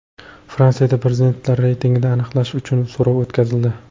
Fransiyada prezidentlar reytingini aniqlash uchun so‘rov o‘tkazildi.